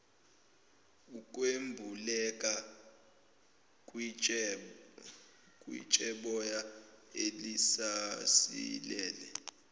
ukwembuleleka kwitsheboya elisasilele